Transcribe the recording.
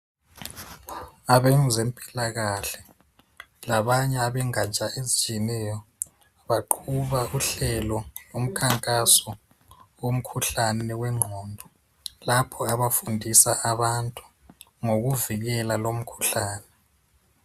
abezempilakahle labanye abengatsha ezitshiyeneyo baqhuba uhlelo lomkhankaso omkhuhlane wenqondo lapho abafundisa abantu ngokuvikela lowu mkhuhlane